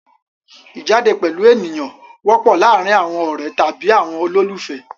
Ìjáde pẹ̀lú ènìyàn wọ́pọ̀ láàárin àwọn ọ̀rẹ́ tàbí àwọn olólùfẹ́.